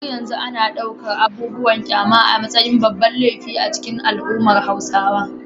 Har yanzu ana ɗaukar abubuwan kyama a matsayin babban laifi a cikin al’ummar Hausawa.